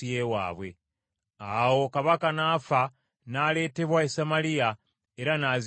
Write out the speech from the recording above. Awo kabaka n’afa n’aleetebwa e Samaliya, era n’aziikibwa eyo.